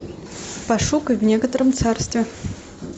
пошукай в некотором царстве